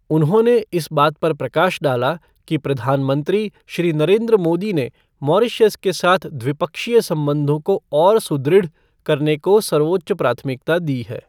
उन्होंने इस बात पर प्रकाश डाला कि प्रधानमंत्री, श्री नरेन्द्र मोदी ने मॉरीशस के साथ द्विपक्षीय संबंधों को और सुदृढ़ करने को सर्वोच्च प्राथमिकता दी है।